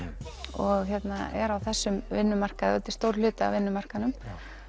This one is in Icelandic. og er á þessum vinnumarkaði þetta er stór hluti af vinnumarkaðnum